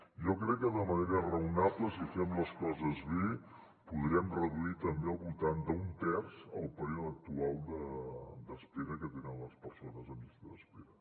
jo crec que de manera raonable si fem les coses bé podrem reduir també al voltant d’un terç el període actual d’espera que tenen les persones en llista d’espera